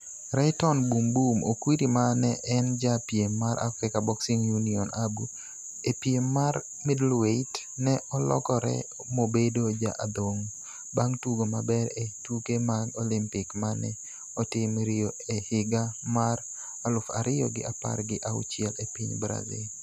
Rayton 'Boom Boom' Okwiri ma ne en ja piem mar African Boxing Union (ABU) e piem mar middleweight, ne olokore mobedo ja adhong' bang' tugo maber e tuke mag Olimpik ma ne otim Rio e higa mar aluf ariyo gi apar gi auchiel e piny Brazil.